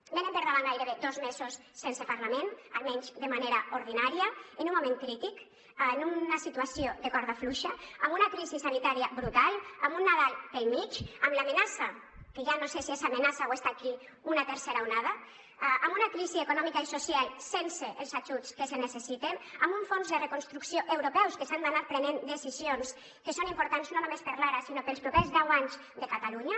venen per davant gairebé dos mesos sense parlament almenys de manera ordinària en un moment crític en una situació de corda fluixa amb una crisi sanitària brutal amb un nadal pel mig amb l’amenaça que ja no sé si és amenaça o està aquí d’una tercera onada amb una crisi econòmica i social sense els ajuts que es necessiten amb un fons de reconstrucció europeus que s’han d’anar prenent decisions que són importants no només per l’ara sinó per als propers deu anys de catalunya